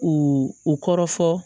U u kɔrɔ fɔ